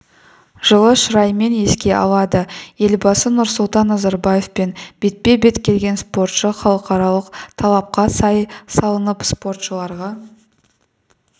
жылы шыраймен еске алады елбасы нұрсұлтан назарбаевпен бетпе-бет келген спортшы халықаралық талапқа сай салынып спортшыларға